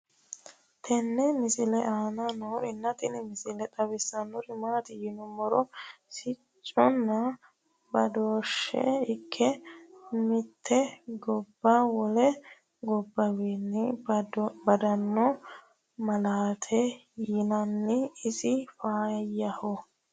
tenne misile aana noorina tini misile xawissannori maati yinummoro sicconna badooshshe ikke mitte gobba wole gobbawiinni badanno malaateti yinanni isi faayyaho